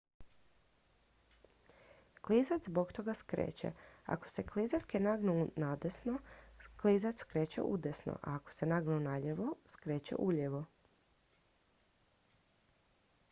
klizač zbog toga skreće ako se klizaljke nagnu nadesno klizač skreće udesno a ako se nagnu nalijevo skreće ulijevo